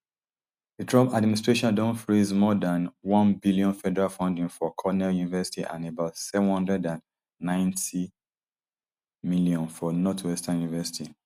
di trump administration don freeze more dan onebn federal funding for cornell university and about seven hundred and ninetym for northwestern university